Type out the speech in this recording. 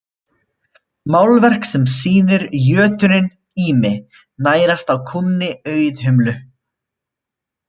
Málverk sem sýnir jötuninn Ými nærast á kúnni Auðhumlu.